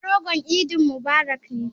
Yanke ragon idi mubarak ne.